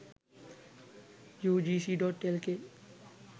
ugc.lk